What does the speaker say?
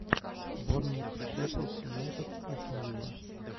борнмут шеффилд юнайтед астон вилла